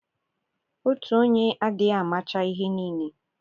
Otu onye adịghị amacha ihe niile.